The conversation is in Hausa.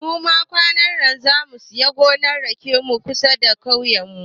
Muma kwanannan zamu samu gonar raken mu kusa da kauyen mu